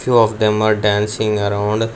few of them are dancing around--